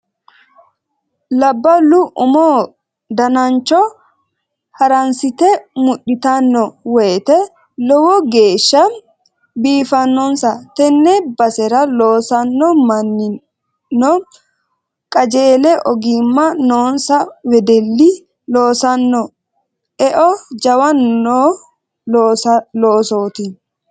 Labbalu umu danancho haransite mudhittano woyte lowo geeshsha biifanonsa tene basera loossano mannino qajeelle ogima noonsa wedelli loossano eo jawa no loosoti